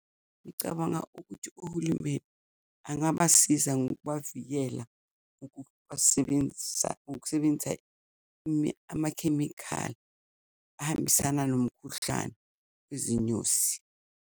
Ngicabanga ukuthi uhulumeni angabasiza ngokubavikela ukusebenzisa amakhemikhali ahambisana nomkhuhlane wezinyosi.